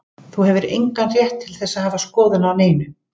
Þú hefur engan rétt til að hafa skoðun á neinu.